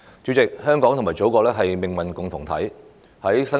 主席，香港與祖國是命運共同體。